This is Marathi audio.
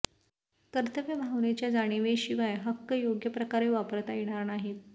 कर्तव्य भावनेच्या जाणिवेशिवाय हक्क योग्य प्रकारे वापरता येणार नाहीत